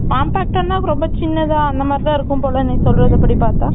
compact அ ரொம்ப சின்னதா அந்த மாதிரி தான் இருக்கும் போல நீ சொல்றத படி பார்த்தா